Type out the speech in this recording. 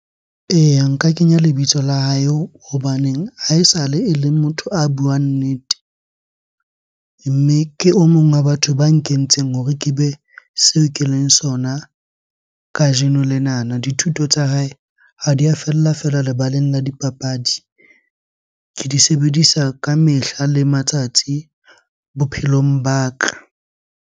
Eya, nka kenya lebitso la hae hobaneng ha esale ele motho a buang nnete. Mme ke o mong wa batho ba nkentseng hore ke be seo keleng sona kajeno lenana. Dithuto tsa hae ha di a fella fela lebaleng la dipapadi. Ke di sebedisa ka mehla le matsatsi bophelong ba ka.